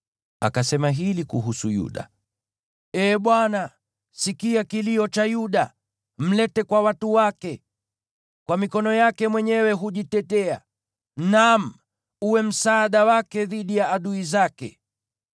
Akasema hili kuhusu Yuda: “Ee Bwana , sikia kilio cha Yuda, mlete kwa watu wake. Kwa mikono yake mwenyewe hujitetea. Naam, uwe msaada wake dhidi ya adui zake!”